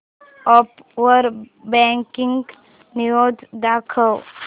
app वर breaking news दाखव